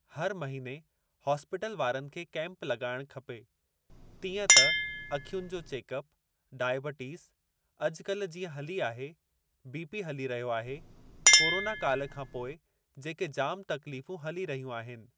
हर महिने हॉस्पिटल वारनि खे केम्प लॻाइण खपे तीअं त अखियुनि जो चेकअप डायबिटिज़ अॼुकल्ह जीअं हली आहे बी पी हली रहियो आहे कोरोना काल खां पोइ जेके जाम तकलीफ़ूं हली रहियूं आहिनि।